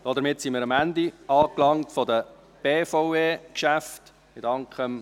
Damit sind wir am Ende der BVE-Geschäfte angelangt.